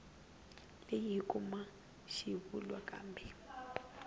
leyi hi kuma xivulwa kumbe